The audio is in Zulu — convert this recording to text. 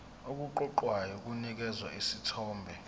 okuqoqayo kunikeza isithombe